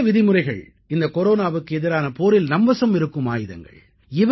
இந்த சில விதிமுறைகள் இந்த கொரோனாவுக்கு எதிரான போரில் நம் வசம் இருக்கும் ஆயுதங்கள்